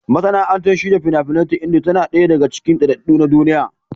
Masana'antar shirya fina-finai ta Indiya tana ɗaya daga cikin daɗaɗɗu a duniya.